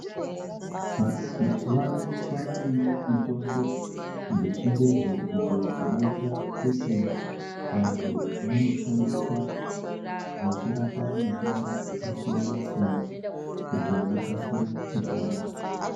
Vantu mazuwano kwavanewo mitombo dzechingezi idzo dzinoita kuti vantu vanoshandisa vachirapa matenda akasiyana siyana kuti vakasire kupona.